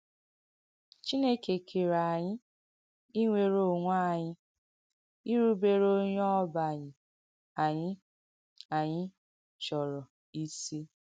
Chìnèkè kèrè ànyị, ìnwè̀rè onwè ànyị, ìrùbère onye ọ̀bànyè̀ anyị anyị chọrọ isi.